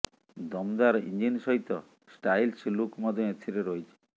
ଦମଦାର ଇଞ୍ଜିନ ସହିତ stylish look ମଧ୍ୟ ଏଥିରେ ରହିଛି